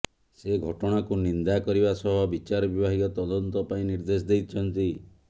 ସେ ଘଟଣାକୁ ନିନ୍ଦା କରିବା ସହ ବିଚାର ବିଭାଗୀୟ ତଦନ୍ତ ପାଇଁ ନିର୍ଦ୍ଦେଶ ଦେଇଛନ୍ତି